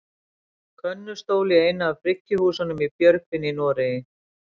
könnustól í einu af bryggjuhúsunum í björgvin í noregi